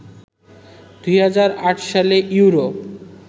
২০০৮ সালে ইউরো